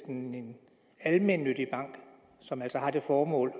en almennyttig bank som altså har til formål